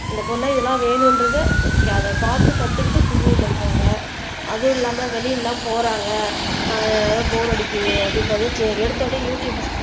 இந்த பொருள இதெல்லாம் வேணும்ன்றதை அதை பார்த்து கத்துக்கிட்டு குக்கிங் பண்றாங்க அதுவும் இல்லாம வெளியில எல்லாம் போறாங்க ஆஹ் போர் அடிக்குது அப்படின்னு பார்த்தா எடுத்த உடனே யு டுயூப்